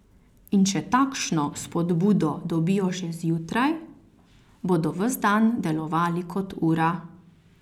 In če takšno spodbudo dobijo že zjutraj, bodo ves dan delovali kot ura.